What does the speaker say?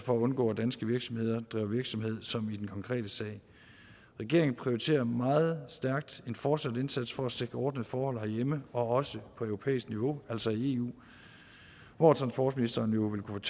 for at undgå at danske virksomheder driver virksomhed som i den konkrete sag regeringen prioriterer meget stærkt en fortsat indsats for at sikre ordnede forhold herhjemme og også på europæisk niveau altså i eu hvor transportministeren jo vil kunne